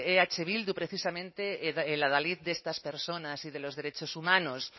eh bildu precisamente el adalid de estas personas y de los derechos humanos